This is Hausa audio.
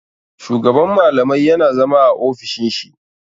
Shugaban malamai yana zama a ofishin shi.